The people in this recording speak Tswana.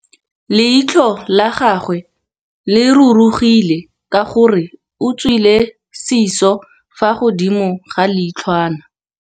Leitlhô la gagwe le rurugile ka gore o tswile sisô fa godimo ga leitlhwana.